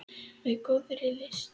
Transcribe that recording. Með góðri lyst.